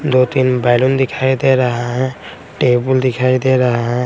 दो तीन बैलून दिखाई दे रहा है टेबल दिखाई दे रहा है।